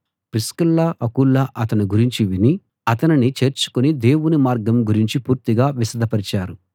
Priscilla Aquila అతని గురించి విని అతనిని చేర్చుకుని దేవుని మార్గం గురించి పూర్తిగా విశదపరిచారు